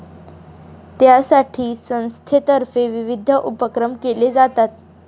त्यासाठी संस्थेतर्फे विविध उपक्रम केले जातात.